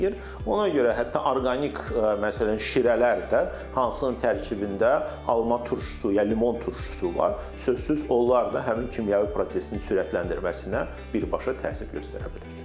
Ona görə hətta orqanik məsələn şirələr də, hansının tərkibində alma turşusu ya limon turşusu var, sözsüz onlar da həmin kimyəvi prosesin sürətləndirməsinə birbaşa təsir göstərə bilər.